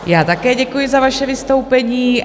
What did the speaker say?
Já také děkuji za vaše vystoupení.